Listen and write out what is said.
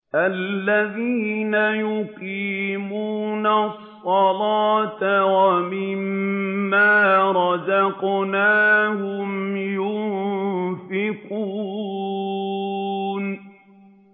الَّذِينَ يُقِيمُونَ الصَّلَاةَ وَمِمَّا رَزَقْنَاهُمْ يُنفِقُونَ